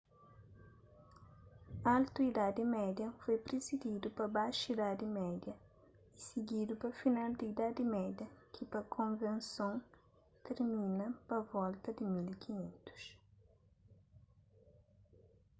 altu idadi média foi prisididu pa baxu idadi média y sigidu pa final di idadi média ki pa konvenson tirmina pa volta di 1500